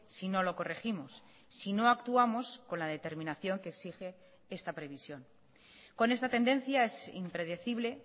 si no lo corregimos si no actuamos con la determinación que exige esta previsión con esta tendencia es impredecible